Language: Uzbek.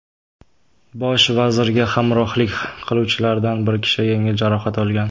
Bosh vazirga hamrohlik qiluvchilardan bir kishi yengil jarohat olgan.